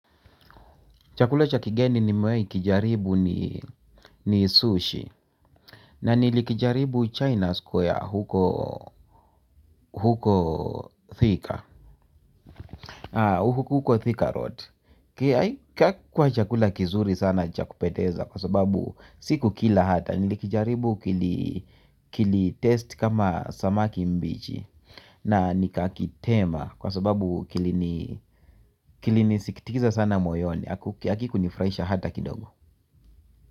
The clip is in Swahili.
Chakula cha kigeni nimewahi kijaribu ni ni sushi na nilikijaribu china square huko thika huko thika road hakikuwa chakula kizuri sana cha kupendeza kwa sababu sikukila hata nilikijaribu kili kilitaste kama samaki mbichi. Na nikakitema kwa sababu kilinisikitiza sana moyoni hakikunifurahisha hata kidogo.